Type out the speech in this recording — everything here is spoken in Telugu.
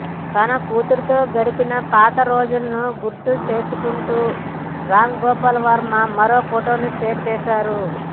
తన కూతురుతో గడిపిన పాత రోజులను గుర్తు చేసుకుంటూ రామ్ గోపాల్ వర్మ మరో ఫోటో షేర్ చేశారు